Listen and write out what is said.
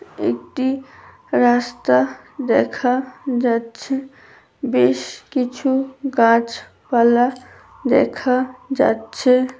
একটি রাস্তা দেখা যাচ্ছে বেশ কিছু গাছ পালা দেখা যাচ্ছে ।